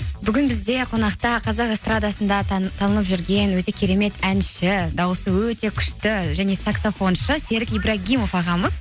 бүгін бізде қонақта қазақ эстрадасында танылып жүрген өзі кремет әнші даусы өте күшті және саксафоншы серік ибрагимов ағамыз